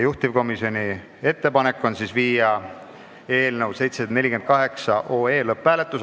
Juhtivkomisjoni ettepanek on teha eelnõu 748 lõpphääletus.